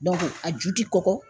a ju tɛ kɔkɔ